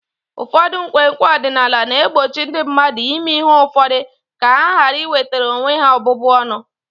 Ụfọdụ nkwenkwe ọdịnala na-egbochi ndị mmadụ ime ihe ụfọdụ ka ha ghara iwetara onwe ha ọbụbụ ọnụ.